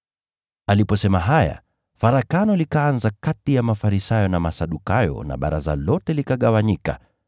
Aliposema haya, farakano likaanza kati ya Mafarisayo na Masadukayo na baraza lote likagawanyika.